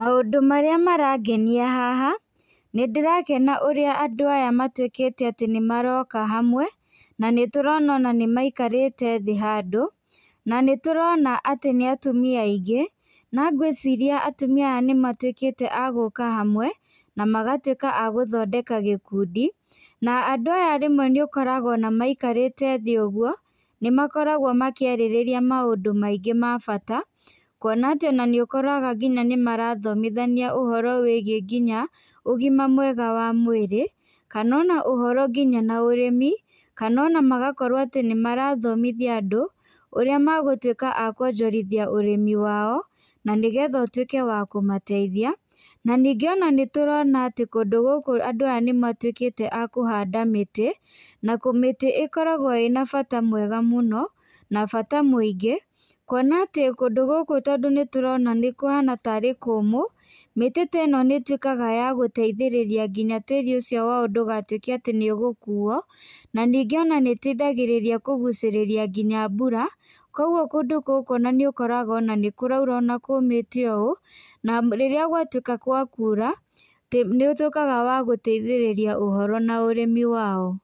Maũndũ marĩa marangenia haha nĩ ndĩrakena ũrĩa ndũ aya matuĩkĩte atĩ nĩ maroka hamwe. Na nĩ tũrona ona nĩ maikarite thĩ handũ, na nĩ tũrona atĩ nĩ atumia aingĩ. Na ngwĩciria tumia aya nĩ matuĩkĩte a gũka hamwe, na magatuĩka agũthondeka gĩkundi. Na andũ aya nĩ ũkoraga ona maikarĩte thĩ ũguo nĩ makoragwo makĩrĩarĩrĩria maũndũ maingĩ ma bata kuona atĩ ona nĩ ũkoraga ngina nĩ marathomithania ũhoro wĩgiĩ nginya ũgima mwega wa mwĩrĩ, kana ona ũhoro nginya na ũrĩmi. Kana ona magakorwo atĩ nĩ marathomithia andũ ũrĩa magũtuĩka ma kuonjorothia ũrĩmi wao, na nĩ getha ũtuĩke wa kũmateithia. Na ningĩ ona nĩ tũrona atĩ kũndũ gũkũ andũ aya nĩ matuĩkĩte akũhanda mĩtĩ, na kũmĩti ĩkoragwo ĩna bata mwega mũno na bata mũingĩ. Kuona atĩ kũndũ gũkũ tondũ nĩ tũrona atĩ nĩ kũmũ mĩtĩ ta ĩno nĩ ĩtuĩkaga ya gũteithĩrĩria nginya tĩri ũcio wao ndũgatuĩke atĩ nĩ ũgũkuo. Na ningĩ ona nĩ ĩteithagia nginya kũgucĩrĩria mbura, koguo ona kũndũ gũkũ ona nĩ ũkoraga nĩ kũraura ona kũmĩte ũũ. Na rĩrĩa gwatuĩka gwa kura nĩ ũtuĩkaga wa gũteithĩrĩria uhoro na ũrimi wao.